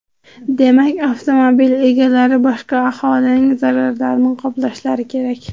Demak, avtomobil egalari boshqa aholining zararlarini qoplashlari kerak.